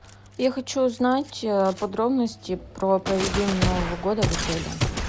я хочу узнать подробности про проведение нового года в отеле